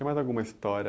Tem mais alguma história?